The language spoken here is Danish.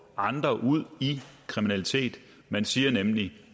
andre ud i kriminalitet man siger nemlig